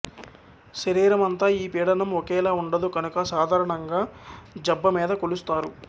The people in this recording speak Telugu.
శరీరం అంతా ఈ పీడనం ఒకేలా ఉండదు కనుక సాధారణంగా జబ్బ మీద కొలుస్తారు